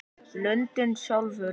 Lundinn sjálfur